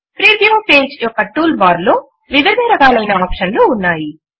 preview page యొక్క tool bar లో వివిధ రకాలైన ఆప్షన్ లు ఉన్నాయి